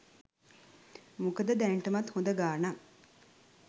මොකද දැනටමත් හොඳ ගානක්